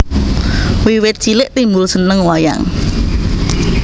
Wiwit cilik Timbul seneng wayang